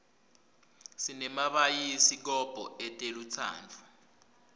sinemabayisi kobho etelutsandvo